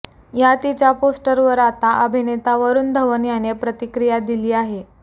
या तिच्या पोस्टवर आता अभिनेता वरुण धवन याने प्रतिक्रिया दिली आहे